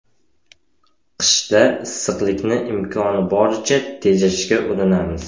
Qishda issiqlikni imkoni boricha tejashga urinamiz.